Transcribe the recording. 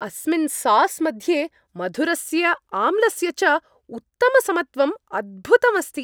अस्मिन् सास् मध्ये मधुरस्य आम्लस्य च उत्तमसमत्वम् अद्भुतम् अस्ति।